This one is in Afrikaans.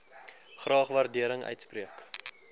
graag waardering uitspreek